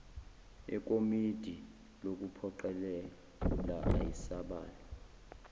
ekomidi lokuphoqelela ayisibalo